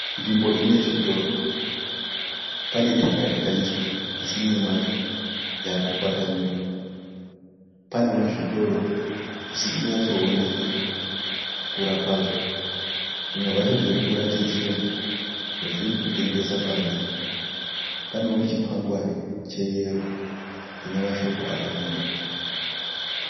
Nzvimbo ine zvitoro, pane tara yakaiswa asi mumwe macho yakukwatanuka. Panewo zvitoro zvisiri kunyatsooneka kukura kwazvo. Zvimwe zvacho zviri kuratidzira zvazviri kutengesa panze. Panewo chikwangwari cheyero chine mashoko akanyorwa.